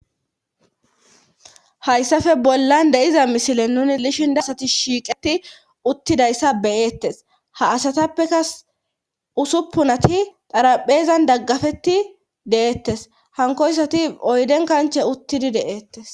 Hayssafe bollan de7iza misile nuni lishin dasati shiiqeti uttidayssa beyeettes ha asatappeka usuppunati daraphezan daggafeti de7eettes hankoyssati oyden kanche uttidi de7eettes